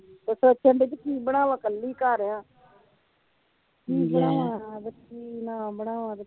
ਤੇ ਸੋਚਣ ਦਈ ਕੀ ਬਣਾਵਾਂ ਇਕੱਲੀ ਘਰ ਆ ਕੀ ਬਣਾਵਾਂ ਤੇ ਕੀ ਨਾ ਬਣਾਵਾਂ।